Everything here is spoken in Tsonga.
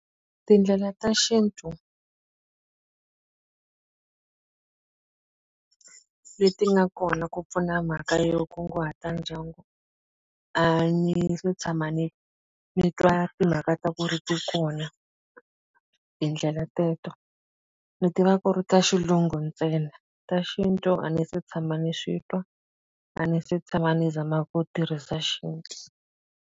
Tindlela ta xintu leti nga kona ku pfuna mhaka yo kunguhata ndyangu, a ni se tshama ni ni twa timhaka ta ku ri kona tindlela teto. Ni tiva ku ri ta xilungu ntsena. Ta xintu a ni se tshama ni swi twa, a ni se tshama ni zama ku tirhisa xintu.